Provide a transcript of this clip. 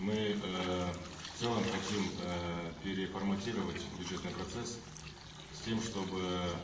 мы эээ в целом хотим эээ переформатировать бюджетный процесс с тем чтобы